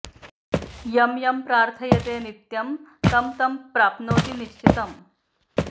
यं यं प्रार्थयते नित्यं तं तं प्राप्नोति निश्चितम्